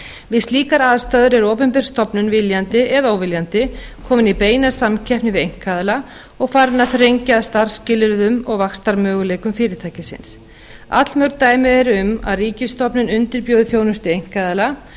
við slíkar aðstæður er opinber stofnun viljandi eða óviljandi komin í beina samkeppni við einkaaðila og farin að þrengja að starfsskilyrðum og vaxtarmöguleikum fyrirtækisins allmörg dæmi eru um að ríkisstofnun undirbjóði þjónustu einkaaðila